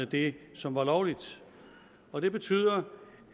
det som er lovligt og det betyder